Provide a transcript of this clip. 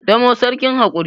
damo sarkin hakuri